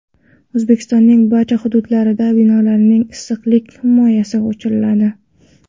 O‘zbekistonning barcha hududlarida binolarning issiqlik himoyasi oshiriladi.